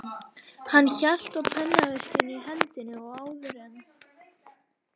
Hann hélt á pennaveskinu í hendinni og áður en